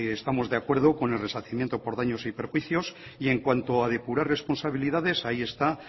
estamos de acuerdo con el resarcimiento por daños y perjuicios y en cuanto a depurar responsabilidades ahí está